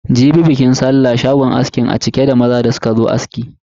Jibi bikin sallah, shagon askin a cike da maza da suka zo aski.